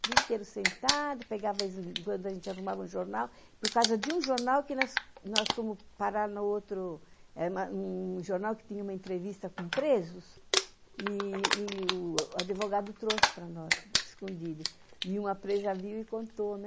Vim inteiro sentada, pegava, enquanto a gente arrumava um jornal, por causa de um jornal que nós fomos parar no outro, um jornal que tinha uma entrevista com presos, e o advogado trouxe para nós, escondido, e uma presa viu e contou, né?